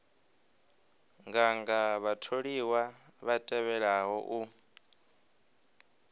nganga vhatholiwa vha tevhelaho u